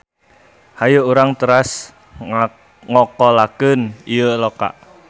Hayu urang teras ngokolakeun ieu loka.